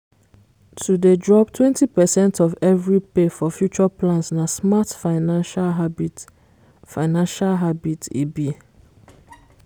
to dey drop 20 percent of every pay for future plans na smart financial habit financial habit e be